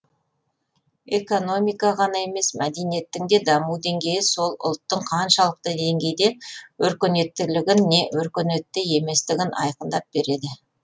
экономика ғана емес мәдениеттің де даму деңгейі сол ұлттың қаншалықты деңгейде өркениеттілігін не өркениетті еместігін айқындап береді